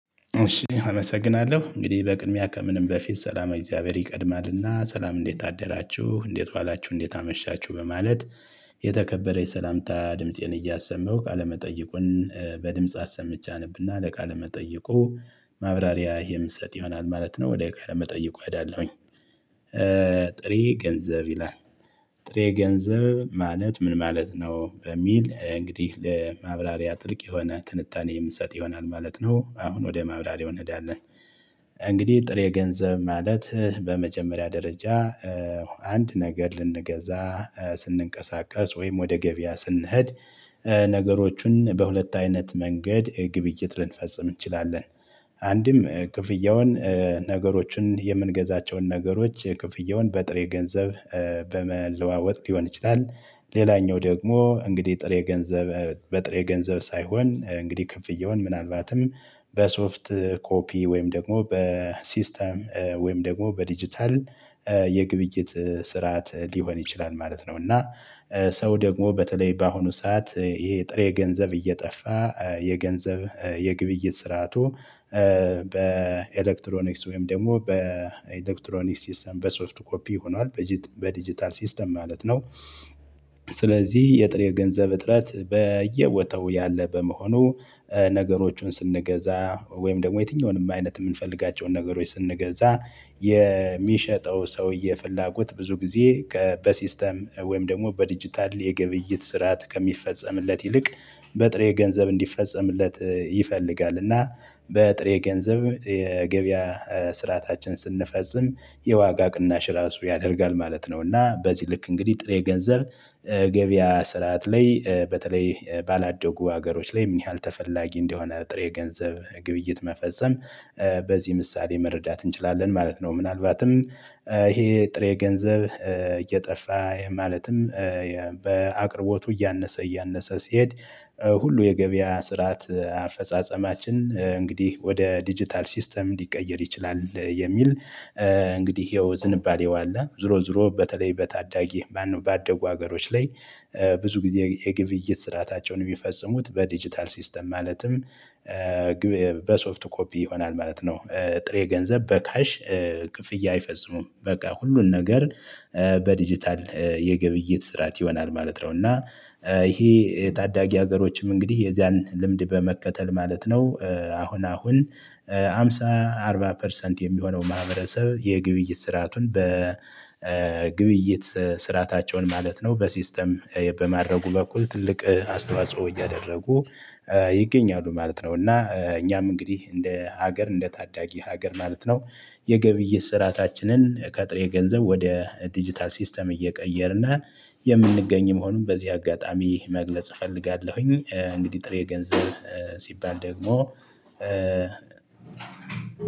እሺ አመሰግናለሁ እንግዲህ በቅድሚያ ከምንም በፊት ሰላመ እግዚአብሔር ይቀድማልና ሰላም እንዴት አደራችሁ እንዴት ዋላችሁ እንዴት አመሻችሁ በማለት የተከበረ የሰላምታ ድምፄን እያሰማው ቃለመጠይቁን በድምጽ አሰምቼ አነብና ለቃል መጠይቁ ማብራሪያ የምሰጥ ይሆናል ማለት ነው ወደ ቃል መጠይቁ እሄዳለሁኝ ጥሬ ገንዘብ ይላል። ጥሬ ገንዘብ ማለት ምን ማለት ነው? በሚል እንግዲህ ለማብራሪያ ጥልቅ የሆነ ትንታኔ የምሰጥ ይሆናል ማለት ነው አሁን ወደ ማብራሪያው እንሄዳለን። እንግዲህ ጥሬ ገንዘብ ማለት በመጀመሪያ ደረጃ አንድ ነገር ልንገዛ ስንንቀሳቀስ ወይም ወደ ገበያ ስንሄድ ነገሮችን በሁለት አይነት መንገድ ግብይት ልንፈጽም እንችላለን። አንድም ክፍያውን ነገሮችን የምንገዛቸውን ነገሮች ክፍያውን በጥሬ ገንዘብ በመለዋወጥ ሊሆን ይችላል። ሌላኛው ደግሞ እንግዲህ ጥሬ ገንዘብ በጥሬ ገንዘብ ሳይሆን እንግዲህ ክፍያውን ምናልባትም በሶፍት ኮፒ ወይም ደግሞ በሲስተም ወይም ደግሞ በዲጂታል የግብይት ስርዓት ሊሆን ይችላል ማለት ነው። እና ሰው ደግሞ በተለይ በአሁኑ ሰዓት ይሄ ጥሬ ገንዘብ እየጠፋ የገንዘብ የግብይት ስርዓቱ። በኤሌክትሮኒክስ ወይም ደግሞ በኤሌክትሮኒክስ ሲስተም በሶፍት ኮፒ ሆኗል በዲጂታል ሲስተም ማለት ነው። ስለዚህ የጥሬ ገንዘብ እጥረት በየቦታው ያለ በመሆኑ ነገሮቹን ስንገዛ ወይም ደግሞ የትኛውንም አይነት የምንፈልጋቸውን ነገሮች ስንገዛ የሚሸጠው ሰውዬ ፍላጎት ብዙ ጊዜ በሲስተም ወይም ደግሞ በዲጂታል የግብይት ስርዓት ከሚፈጸምለት ይልቅ በጥሬ ገንዘብ እንዲፈጸምለት ይፈልጋል። እና በጥሬ ገንዘብ የገበያ ስርዓታችን ስንፈጽም የዋጋ ቅናሽ ራሱ ያደርጋል ማለት ነው። እና በዚህ ልክ እንግዲህ ጥሬ ገንዘብ ገበያ ስርዓት ላይ በተለይ ባላደጉ ሀገሮች ላይ ምን ያህል ተፈላጊ እንደሆነ ጥሬ ገንዘብ ግብይት መፈጸም በዚህ ምሳሌ መረዳት እንችላለን ማለት ነው። ምናልባትም ይሄ ጥሬ ገንዘብ እየጠፋ ማለትም በአቅርቦቱ እያነሰ እያነሰ ሲሄድ ሁሉ የገበያ ስርዓት አፈጻጸማችን እንግዲህ ወደ ዲጂታል ሲስተም ሊቀየር ይችላል የሚል። እንግዲህ ይኸው ዝንባሌው አለ። ዞሮ ዞሮ በተለይ በታዳጊ ማነው ባደጉ ሀገሮች ላይ ብዙ ጊዜ የግብይት ስርአታቸውን የሚፈጽሙት በዲጂታል ሲስተም ማለትም በሶፍት ኮፒ ይሆናል ማለት ነው። ጥሬ ገንዘብ በካሽ ክፍያ አይፈጽሙም በቃ ሁሉን ነገር በዲጂታል የግብይት ስርዓት ይሆናል ማለት ነው። እና ይሄ ታዳጊ ሀገሮችም እንግዲህ የዚያን ልምድ በመከተል ማለት ነው። አሁን አሁን ሃምሳ አርባ ፐርሰንት የሚሆነው ማህበረሰብ የግብይት ስርአቱን የግብይት ስርአታቸውን ማለት ነው በሲስተም በማድረጉ በኩል ትልቅ አስተዋጽኦ እያደረጉ ይገኛሉ ማለት ነው። እና እኛም እንግዲህ እንደ ሀገር እንደ ታዳጊ ሀገር ማለት ነው የግብይት ስርዓታችንን ከጥሬ ገንዘብ ወደ ዲጂታል ሲስተም እየቀየርን የምንገኝ መሆኑን በዚህ አጋጣሚ መግለጽ እፈልጋለሁኝ። እንግዲህ ጥሬ ገንዘብ ሲባል ደግሞ